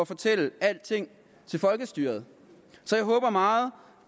fortælle alting til folkestyret så jeg håber meget